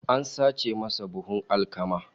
An sace masa buhun alkama